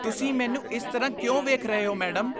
ਤੁਸੀਂ ਮੈਨੂੰ ਇਸ ਤਰ੍ਹਾਂ ਕਿਉਂ ਵੇਖ ਰਹੇ ਹੋ ਮੈਡਮ?